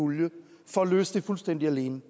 pulje for at løse det fuldstændig alene